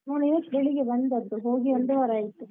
ನಾನು ಇವತ್ತ್ ಬೆಳಿಗ್ಗೆ ಬಂದದ್ದು ಹೋಗಿ ಒಂದು ವಾರಾಯ್ತು.